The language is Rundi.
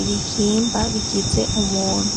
ibihimba bigize umuntu.